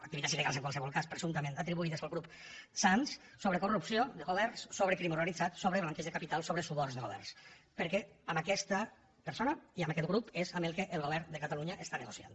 activitats illegals en qualsevol cas presumptament atribuïdes al grup sands sobre corrupció de governs sobre crim organit zat sobre blanqueig de capital sobre suborns de governs perquè amb aquesta persona i amb aquest grup és amb el que el govern de catalunya està negociant